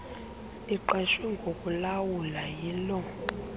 liqeshwe ngokulawula yilo